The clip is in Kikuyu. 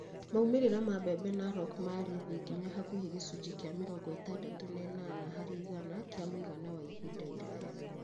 Maumĩrĩra ma mbembe Narok marĩ thĩ nginya hakuhĩ gĩcunjĩ kĩa mĩrongo ĩtandatũ na ĩnana harĩ igana kĩa mũigana wa ihinda iraya